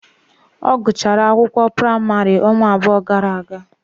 Ọ gụchara akwụkwọ praịmarị ọnwa abụọ gara aga.